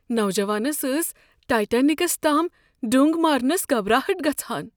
نوجوانس ٲس ٹایٹینکس تام ڈُنٛگ مارنس گبراہٹ گژھان۔